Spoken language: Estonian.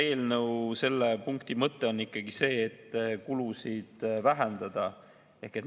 Eelnõu selle punkti mõte on ikkagi see, et kulusid vähendada.